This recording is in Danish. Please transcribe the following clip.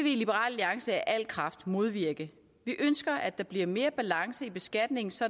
i liberal alliance af al kraft modvirke vi ønsker at der bliver mere balance i beskatningen så